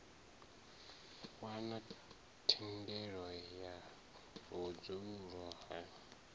wana thendelo ya vhudzulo ha